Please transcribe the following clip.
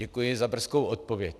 Děkuji za brzkou odpověď.